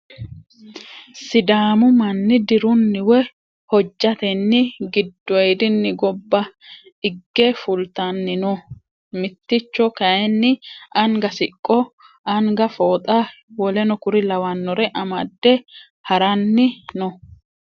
Sidaamu mani dirunni woyi hojjateni gidoyidinni gobba igge fultani no miticho kayiini anga siqqo anga fooxa w.k.l amadde harani no.